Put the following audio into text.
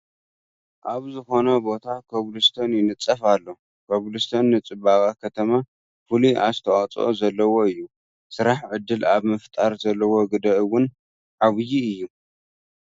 ኣብ ዝኾነ ቦታ ኮብል ስቶን ይንፀፍ ኣሎ፡፡ ኮብል ስቶን ንፅባቐ ከተማ ፍሉይ ኣስተዋፅኦ ዘለዎ እዩ፡፡ ስራሕ ዕድል ኣብ ምፍጣር ዘለዎ ግደ እውን ዓይዪ እዩ፡፡